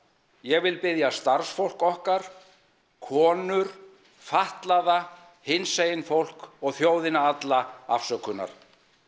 ég vil biðja starfsfólk okkar konur fatlaða hinsegin fólk og þjóðina alla afsökunar